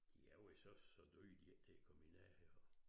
De er jo ikke så så dyre de ikke til at komme i nærheden af